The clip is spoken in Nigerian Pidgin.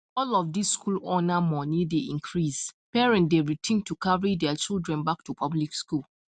as all these school owner money dey increase parent dey rethink to carry there children back to public school